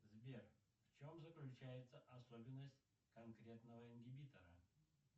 сбер в чем заключается особенность конкретного ингибитора